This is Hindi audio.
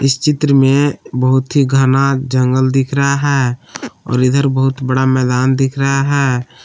चित्र में बहुत ही घना जंगल दिख रहा है और इधर बहुत बड़ा मैदान दिख रहा है।